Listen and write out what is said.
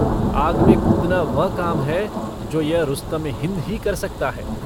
आग में कूदना वह काम है जो यह रुस्तमे-हिन्द ही कर सकता है।